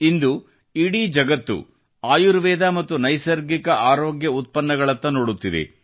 ಇಂದು ಇಡೀ ಜಗತ್ತು ಆಯುರ್ವೇದ ಮತ್ತು ನೈಸರ್ಗಿಕ ಆರೋಗ್ಯ ಉತ್ಪನ್ನಗಳತ್ತ ನೋಡುತ್ತಿದೆ